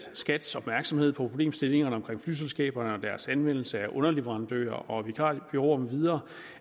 skats opmærksomhed på problemstillingerne omkring flyselskaberne og deres anvendelse af underleverandører og vikarbureauer med videre